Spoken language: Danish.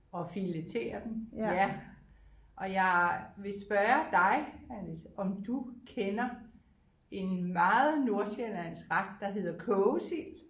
Og filetere dem ja og jeg vil spørge dig Alice om du kender en meget nordsjællandsk ret der hedder kogesild